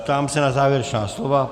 Ptám se na závěrečná slova.